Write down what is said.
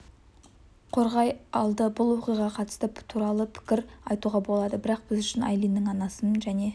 қорғай алды бұл оқиғаға қатысты түрлі пікір айтуға болады бірақ біз үшін айлиннің анасымен және